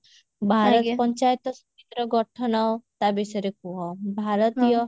ଭାରତ ପଞ୍ଚାୟତ ସମିତିର ଗଠନ ତା ବିଷୟରେ କୁହ ଭାରତୀୟ